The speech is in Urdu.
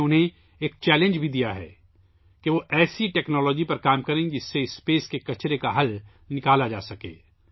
میں نے انھیں ایک چیلنج بھی دیا ہے، کہ وہ ایسی ٹیکنالوجی پر کام کریں، جس سے خلا کے کچرے کے نپٹارے کا حل نکالا جاسکے